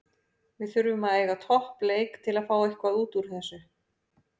Við þurfum að eiga topp leik til að fá eitthvað útúr þessu.